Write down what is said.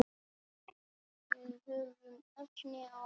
Við höfum efni á því.